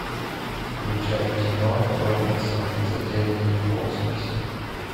включай кино робинсоны затерянные в космосе